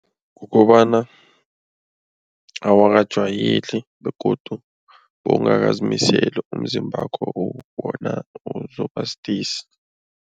Kukobana awakajwayeli begodu bowungakazimiseli umzimbakho bona uzoba sidisi.